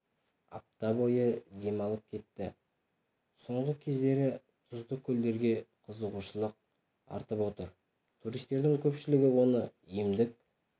апта бойы демалып кетті соңғы кездері тұзды көлдерге қызығушылық артып отыр туристердің көпшілігі оның емдік